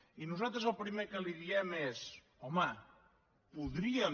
i nosaltres el primer que li diem és home podríem